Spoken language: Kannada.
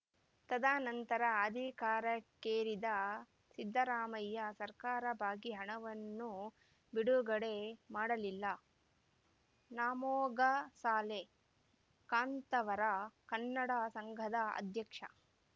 ತದನಂತರ ಅಧಿಕಾರಕ್ಕೇರಿದ ಸಿದ್ದರಾಮಯ್ಯ ಸರ್ಕಾರ ಬಾಕಿ ಹಣವನ್ನು ಬಿಡುಗಡೆ ಮಾಡಲಿಲ್ಲ ನಾಮೊಗಸಾಲೆ ಕಾಂತಾವರ ಕನ್ನಡ ಸಂಘದ ಅಧ್ಯಕ್ಷ